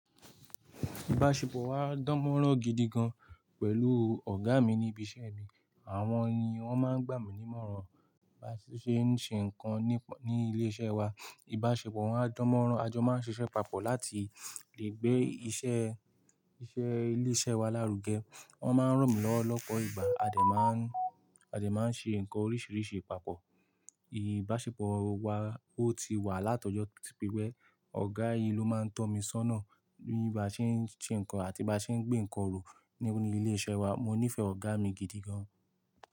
Ìbásepọ̀ wa dánmọ́rán gidi gan pẹ̀lú ọ̀gá mi ní ibi iṣẹ́ mi. Àwọn ni wọ́n máa ń gbà mí ní ìmọ̀ràn bí a ṣe ń ṣe ńkan ní, ní ilé iṣẹ́ wa. Ìbáṣepọ̀ wọn á dánmọ́rán. A jọ máa ń ṣiṣẹ́ papọ̀ láti lè gbé iṣẹ́, iṣẹ́ ilé iṣẹ́ wa lárugẹ. Wọ́n máa ń ràn mí lọ́wọ́ lọ́pọ̀ ìgbà. A dẹ̀ máa ń, a dẹ̀ máa ń ṣe nǹkan oríṣiríṣi papọ̀. Ìbáṣepọ̀ wa, ó ti wà látọjọ́ to tí pé, ọ̀gá yìí ló máa ń tọ́ mi sọ́nà bí mo bá ṣe ń ṣe ńkan àti bá ṣe ń gbé ńkan rùú ní, ní ilé iṣẹ́ wa. Mo nífẹ̀ẹ́ ọ̀gá mi gidi gan.